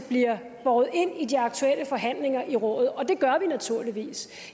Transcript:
bliver båret ind i de aktuelle forhandlinger i rådet og det gør vi naturligvis